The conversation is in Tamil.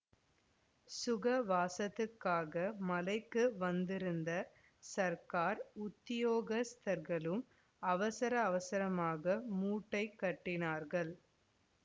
சுகவாசத்துக்காக மலைக்கு வந்திருந்த சர்க்கார் உத்தியோகஸ்தர்களும் அவசர அவசரமாக மூட்டை கட்டினார்கள்